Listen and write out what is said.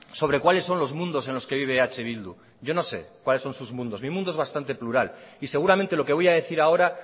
sobre cuáles son los mundos en los que vive eh bildu yo no sé cuáles son sus mundos mi mundo es bastante plural y seguramente lo que voy a decir ahora